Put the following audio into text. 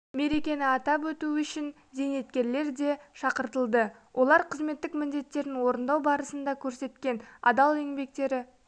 мерекені атап өту үшін зейнеткерлер де шақыртылды олар қызметтік міндеттерін орындау барысында көрсеткен адал еңбектері